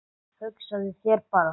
Hugsaðu þér bara